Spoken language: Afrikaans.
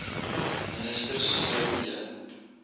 minister c b